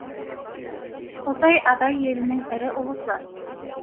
қосай адай елінің ірі ұлысы